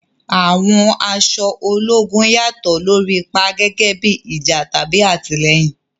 Àwọn aṣọ ológun yàtọ̀ lórí ipa, gẹ́gẹ́ bí ìjà tàbí àtìlẹ́yìn.